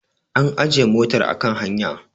an ajiye motar a kan hanya